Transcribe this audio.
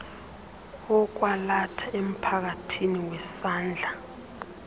wokwalatha emphakathini wesandla